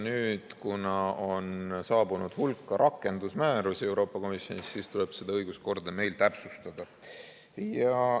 Nüüd, kuna on saabunud hulk rakendusmäärusi Euroopa Komisjonist, tuleb seda õiguskorda meil täpsustada.